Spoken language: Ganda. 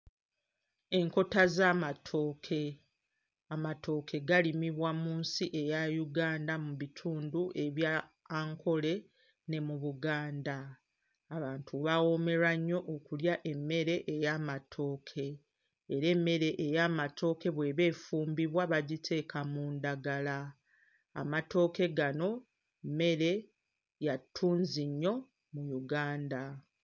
Enkota z'amatooke. Amatooke galimibwa mu nsi eya Uganda mu bitundu ebya Ankole ne mu Buganda. Abantu bawoomerwa nnyo okulya emmere ey'amatooke era emmere ey'amatooke bw'eba efumbibwa bagiteeka mu ndagala. Amatooke gano mmere ya ttunzi nnyo mu Uganda.